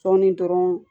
Sɔɔni dɔrɔn